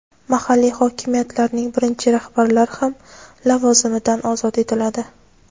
mahalliy hokimiyatlarning birinchi rahbarlari ham lavozimidan ozod etiladi.